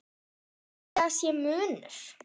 Haldið að sé munur?